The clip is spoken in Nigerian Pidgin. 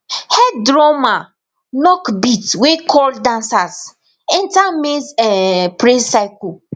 head drummer knock beat wey call dancers enter maize um praise cycle